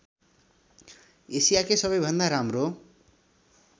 एसियाकै सबैभन्दा राम्रो